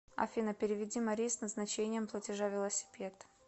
афина переведи марии с назначением платежа велосипед